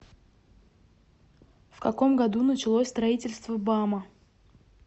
в каком году началось строительство бама